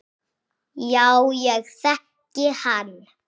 Já, ég þekkti hann.